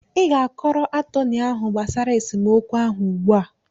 Ị ga-akọrọ atọnị ahụ gbasara esemokwu ahụ ugbu a!